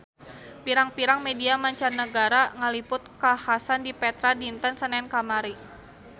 Pirang-pirang media mancanagara ngaliput kakhasan di Petra dinten Senen kamari